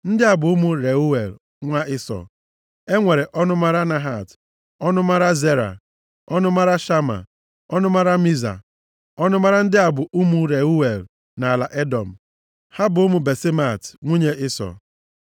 Ndị bụ ụmụ Reuel, nwa Ịsọ, e nwere ọnụmara Nahat, ọnụmara Zera, ọnụmara Shama, ọnụmara Miza. Ọnụmara ndị a bụ ụmụ Reuel nʼala Edọm. Ha bụ ụmụ Basemat, nwunye Ịsọ.